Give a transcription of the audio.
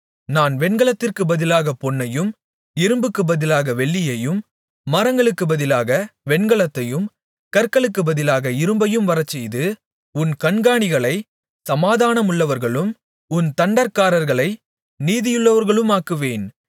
நான் வெண்கலத்திற்குப் பதிலாகப் பொன்னையும் இரும்புக்குப் பதிலாக வெள்ளியையும் மரங்களுக்குப் பதிலாக வெண்கலத்தையும் கற்களுக்குப் பதிலாக இரும்பையும் வரச்செய்து உன் கண்காணிகளைச் சமாதானமுள்ளவர்களும் உன் தண்டற்காரர்களை நீதியுள்ளவர்களுமாக்குவேன்